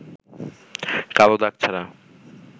কালো দাগ ছাড়া